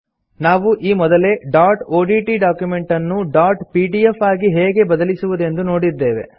ನಾವು ಈ ಮೊದಲೇ ಡಾಟ್ ಒಡಿಟಿ ಡಾಕ್ಯುಮೆಂಟ್ ಅನ್ನು ಡಾಟ್ ಪಿಡಿಎಫ್ ಆಗಿ ಹೇಗೆ ಬದಲಿಸುವುದೆಂದು ನೋಡಿದ್ದೇವೆ